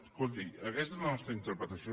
escolti aquesta és la nostra interpretació